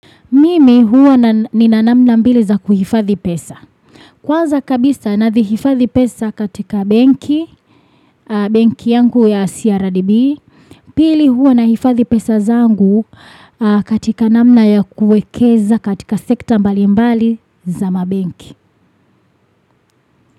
Mimi huwa nina namna mbili za kuhifadhi pesa. Kwanza kabisa navihifadhi pesa katika benki, benki yangu ya CRDB. Pili huwa nahifadhi pesa zangu katika namna ya kuwekeza katika sekta mbalimbali za mabenki.